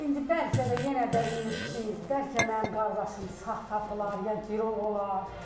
İndi bəlkə də yenə də ümidliyik, bəlkə mənim qardaşım sağ tapılar, ya girov olar.